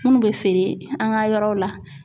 Munnu be feere an ka yɔrɔw la.